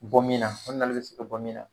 Bɔ min na o nali bɛ se ka bɔ min na.